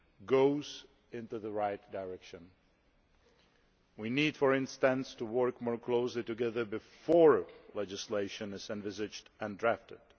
goes into the right direction. We need, for instance, to work more closely together before legislation is envisaged and drafted.